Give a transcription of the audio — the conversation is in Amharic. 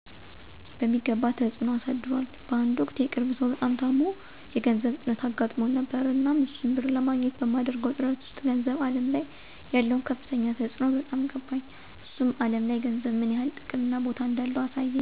በሚገባ ተፅዕኖ አሳድሯል በአንድ ወቅት የቅርብ ሰው በጣም ታሞ የገንዘብ እጥረት አጋጥሞን ነበር። እናም እሱን ብር ለማግኘት በማደርገው ጥረት ውስጥ ገንዘብ አለም ላይ ያለው ከፍተኛ ተፅዕኖ በጣም ገባኝ። እሱም አለም ላይ ገንዘብ ምን ያህል አቅም እና ቦታ እንዳለው አሳየኝ። ከዚያ ወዲህ ጊዜ ጀምሮ በየቀኑ ገንዘብ ለማግኘት፣ ለማጠራቀም፣ እና ለመቆጠብ ምክንያት ሆኖኛል።